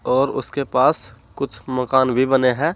और उसके पास कुछ मकान भी बने हैं।